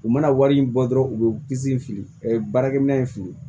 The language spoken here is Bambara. U mana wari in bɔ dɔrɔn u bɛ disi fili ɛɛ baarakɛ minɛn fili